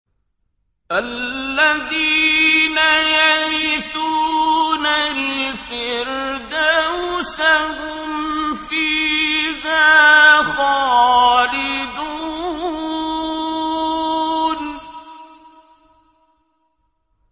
الَّذِينَ يَرِثُونَ الْفِرْدَوْسَ هُمْ فِيهَا خَالِدُونَ